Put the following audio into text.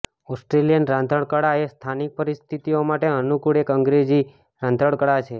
Australian રાંધણકળા એ સ્થાનિક પરિસ્થિતિઓ માટે અનુકૂળ એક અંગ્રેજી રાંધણકળા છે